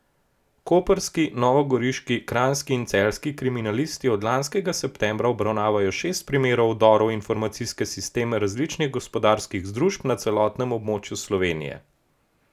Koprski, novogoriški, kranjski in celjski kriminalisti od lanskega septembra obravnavajo šest primerov vdorov v informacijske sisteme različnih gospodarskih družb na celotnem območju Slovenije.